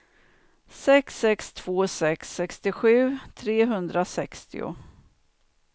sex sex två sex sextiosju trehundrasextio